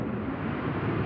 İndi sürəti çoxdur.